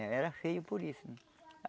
Era feio por isso.